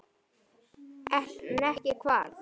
En ekki hvað?